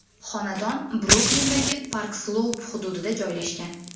Xonadon Bruklindagi Park-Sloup hududida joylashgan.